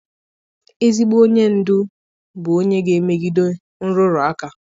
Ezigbo onye ndu bụ onye ga-emegide nrụrụ aka.